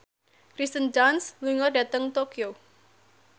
Kirsten Dunst lunga dhateng Tokyo